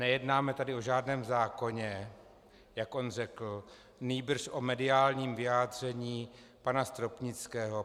Nejednáme tady o žádném zákoně, jak on řekl, nýbrž o mediálním vyjádření pana Stropnického.